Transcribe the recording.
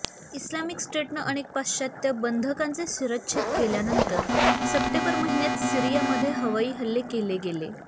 Islamic स्टेटनं अनेक पाश्चात्य बंधकांचे शिरच्छेद केल्यानंतर सप्टेंबर महिन्यात सीरियामध्ये हवाई हल्ले केले गेले